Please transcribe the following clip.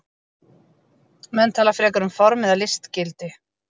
Menn tala frekar um form eða listgildi.